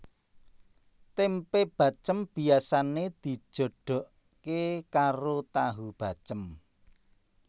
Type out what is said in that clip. Tempe bacém biasane dijodoke karo tahu bacém